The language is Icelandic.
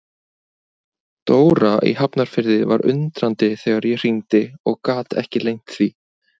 Dóra í Hafnarfirði var undrandi þegar ég hringdi og gat ekki leynt því.